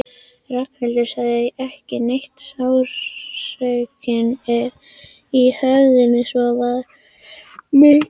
Ragnhildur sagði ekki neitt, sársaukinn í höfðinu var svo mikill.